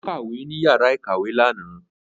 Ó kàwé ní yàrá ìkàwé lànà